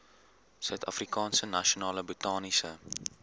suidafrikaanse nasionale botaniese